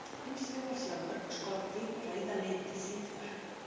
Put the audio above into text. Hins vegar sjá mörg skordýr rauða liti síður.